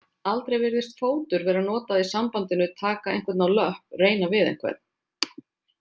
Aldrei virðist fótur vera notað í sambandinu taka einhvern á löpp reyna við einhvern.